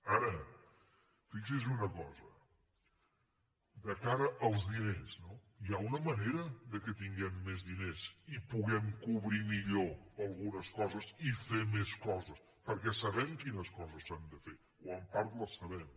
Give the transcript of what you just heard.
ara fixi’s en una cosa de cara als diners no hi ha una manera que puguem tenir més diners i puguem cobrir millor algunes coses i fer més coses perquè sabem quines coses s’han de fer o en part les sabem